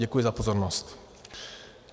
Děkuji za pozornost.